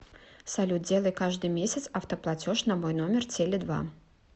салют делай каждый месяц автоплатеж на мой номер теле два